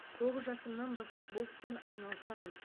тоғыз жасымнан бастап бокспен айналысамын